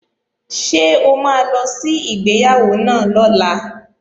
Ṣé o máa lọ sí ìgbéyàwó náà lọ́la?